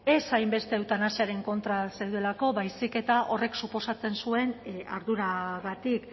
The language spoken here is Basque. ez hainbeste eutanasiaren kontra zaudelako baizik eta horrek suposatzen zuen arduragatik